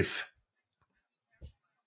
If